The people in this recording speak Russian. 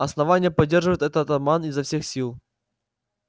основание поддерживает этот обман изо всех сил